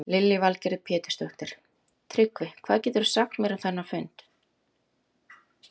Lillý Valgerður Pétursdóttir: Tryggvi, hvað geturðu sagt mér um þennan fund?